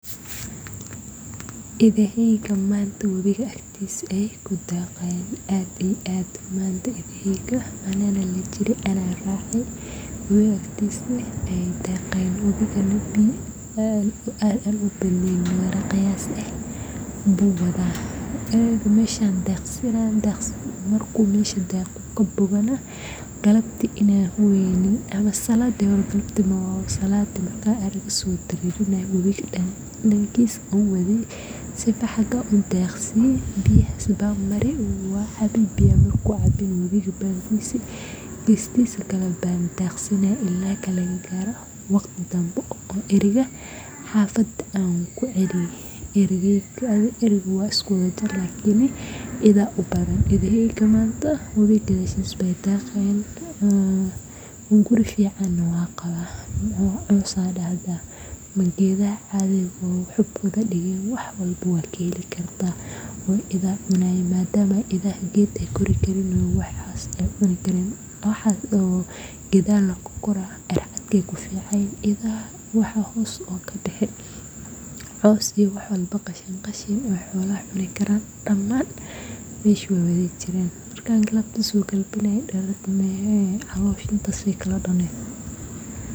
idahaygii maanta webiga agtiisa ee ku daaqayaan